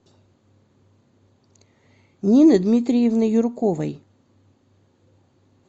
нины дмитриевны юрковой